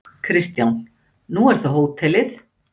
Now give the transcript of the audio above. Kristján: Nú er það hótelið?